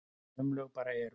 Sum lög bara eru.